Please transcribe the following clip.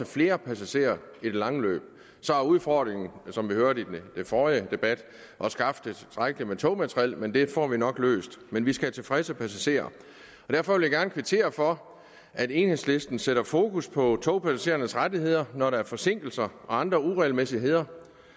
flere passagerer i det lange løb så er udfordringen som vi hørte under den forrige debat at skaffe tilstrækkeligt med togmateriel men det får vi nok løst men vi skal have tilfredse passagerer derfor vil jeg gerne kvittere for at enhedslisten sætter fokus på togpassagerernes rettigheder når der er forsinkelser og andre uregelmæssigheder